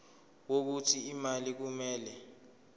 wokuthi imali kumele